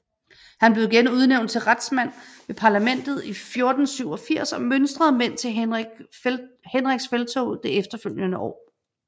Han blev igen udnævnt til retsmand ved parlamentet i 1487 og mønstrede mænd til Henriks felttog det efterfølgende år